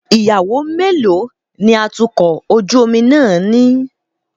Ìyàwó mélòó ni atukọ̀ ojú omi náà ní?